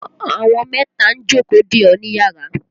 Àwọn mẹ́ta ń jókòó dè ọ́ níyàrá.